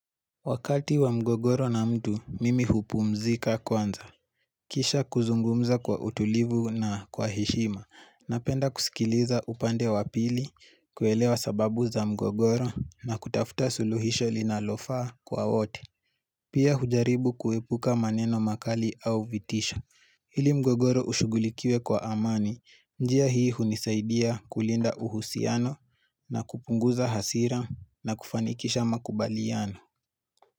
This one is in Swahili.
Wakati wa mgogoro na mtu, mimi hupumzika kwanza. Kisha kuzungumza kwa utulivu na kwa heshima. Napenda kusikiliza upande wa pili, kuelewa sababu za mgogoro na kutafuta suluhisho linalofaa kwa wote. Pia hujaribu kuepuka maneno makali au vitisho. Ili mgogoro ushugulikiwe kwa amani, njia hii hunisaidia kulinda uhusiano na kupunguza hasira na kufanikisha makubaliano.